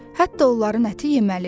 Hətta onların əti yeməlidir.